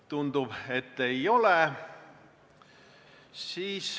Tundub, et ei ole.